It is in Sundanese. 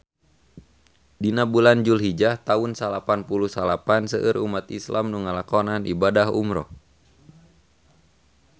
Dina bulan Julhijah taun salapan puluh salapan seueur umat islam nu ngalakonan ibadah umrah